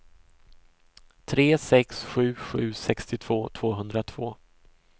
tre sex sju sju sextiotvå tvåhundratvå